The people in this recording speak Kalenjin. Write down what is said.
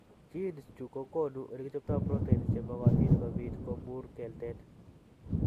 Genes chu ko konu ole kichopto proteins che makatin kobiit ko muro keltet.